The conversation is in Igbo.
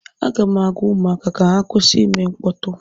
Aga m agwa ụmụaka ka ha kwụsị ịme mkpọtụ